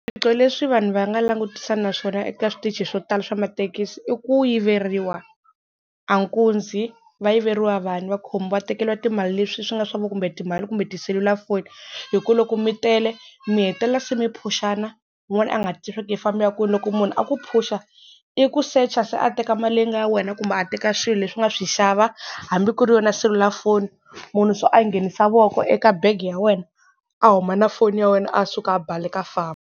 Swiphiqo leswi vanhu va nga langutisana na swona eka switichi swo tala swa mathekisi i ku yiveriwa, a nkunzi va yiveriwa vanhu va khomiwa va tekeriwa timali leswi swi nga swa vu kumbe timali kumbe tiselulafoni hi ku loko mi tele mi hetelela se mi phushana wun'wana a nga ha tivi swa ku i famba a ya kwini loko munhu a ku phusha i ku secha se a teka mali leyi nga ya wena kumbe a teka xilo leswi nga swi xava hambi ku ri yona selulafoni munhu so a nghenisa voko eka bag ya wena a huma na foni ya wena a suka a baleka a famba.